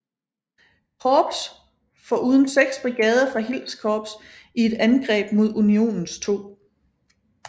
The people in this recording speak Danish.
Korps foruden 6 brigader fra Hills Korps i et angreb mod Unionens 2